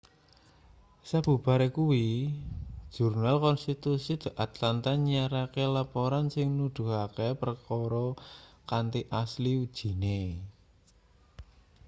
sabubare kuwi jurnal-konstitusi the atlanta nyiarake laporan sing nuduhake perkara kanthi asil ujine